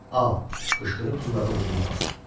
Al, qışqırıb pulları ovcuma basdı.